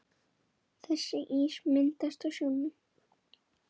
Þessi ís myndast á sjónum.